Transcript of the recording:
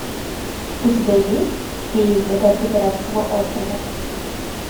у тебя есть феи загадка пиратского острова